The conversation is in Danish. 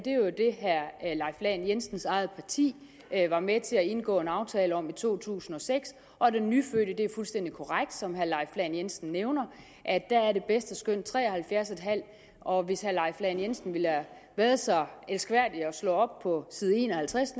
leif lahn jensens eget parti var med til at indgå en aftale om i to tusind og seks det er fuldstændig korrekt som herre leif lahn jensen nævner at det bedste skøn er tre og halvfjerds en halv år og hvis herre leif lahn jensen ville have været så elskværdig at slå op på side en og halvtreds